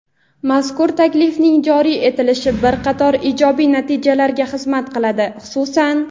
Mazkur taklifning joriy etilishi bir qator ijobiy natijalarga xizmat qiladi, xususan:.